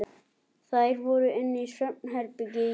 Þær voru inni í svefnherbergi Júlíu.